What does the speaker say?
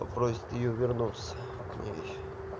попросит её вернуться к ней